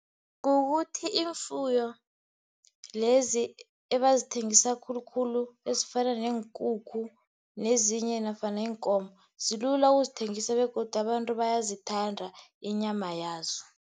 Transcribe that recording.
Kukuthi iimfuyo lezi abazithengisa khulukhulu, ezifana neenkukhu nezinye nofana iinkomo, zilula ukuzithengisa begodu abantu bayazithanda, inyama yazo.